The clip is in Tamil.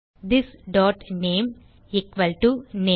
this dot name equal to name